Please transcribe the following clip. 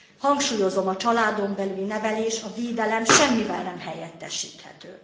Hangsúlyozom, a családon belüli nevelés, a védelem semmivel nem helyettesíthető.